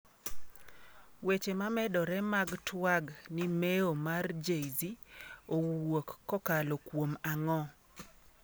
Weche mamedore mag twag ni mewo mar Jay-z owuok kokalo kuom ang'o?